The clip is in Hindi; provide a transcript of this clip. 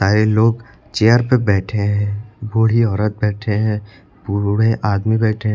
ये लोग चेयर पे बैठे हैं बूढ़ी औरत बैठे हैं बूढ़े आदमी बैठे हैं।